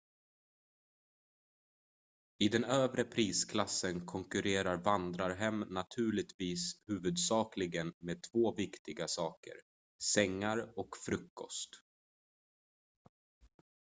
i den övre prisklassen konkurrerar vandrarhem naturligtvis huvudsakligen med två viktiga saker sängar och frukost